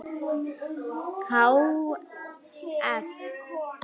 Há eff.